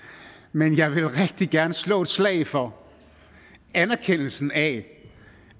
men jeg vil rigtig gerne slå et slag for anerkendelsen af